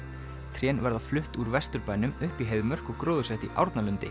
trén verða flutt úr Vesturbænum upp í Heiðmörk og gróðursett í